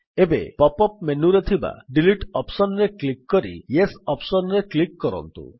ଏବେ pop up ମେନୁରେ ଥିବା ଡିଲିଟ୍ ଅପ୍ସନ୍ ରେ କ୍ଲିକ୍ କରି ୟେସ୍ ଅପ୍ସନ୍ ରେ କ୍ଲିକ୍ କରନ୍ତୁ